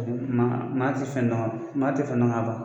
maa tɛ fɛn dɔn maa tɛ fɛn dɔn ka ban.